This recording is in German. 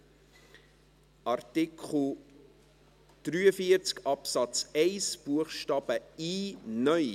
Wir kommen zu Artikel 43 Absatz 1 Buchstabe i (neu).